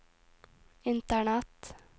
internett